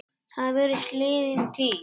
Það virðist liðin tíð.